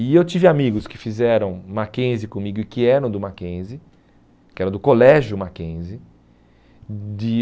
E eu tive amigos que fizeram Mackenzie comigo e que eram do Mackenzie, que era do colégio Mackenzie. De